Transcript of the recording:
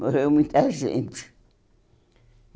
Morreu muita gente.